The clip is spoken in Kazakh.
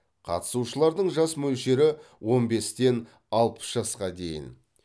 қатысушылардың жас мөлшері он бестен алпыс жасқа дейін